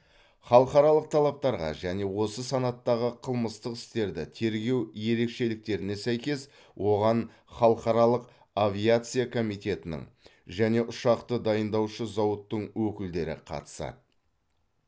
халықаралық талаптарға және осы санаттағы қылмыстық істерді тергеу ерекшеліктеріне сәйкес оған халықаралық авиация комитетінің және ұшақты дайындаушы зауыттың өкілдері қатысады